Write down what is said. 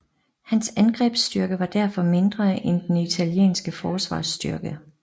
Hans angrebsstyrke var derfor mindre end den italienske forsvarsstyrke